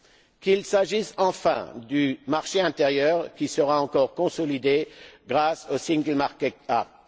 qu'il s'agisse enfin du marché intérieur, qui sera encore consolidé grâce au single market act